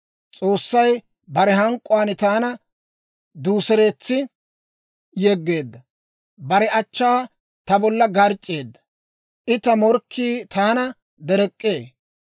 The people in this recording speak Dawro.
S'oossay bare hank'k'uwaan taana duuseretsi yeggeedda; bare achchaakka ta bolla garc'c'eedda; I ta morkkii taana derek'k'ee.